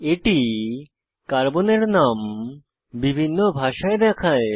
এটি কার্বনের নাম বিভিন্ন ভাষায় দেখায়